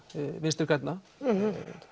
Vinstri grænna